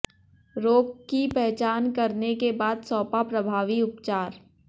रोग की पहचान करने के बाद सौंपा प्रभावी उपचार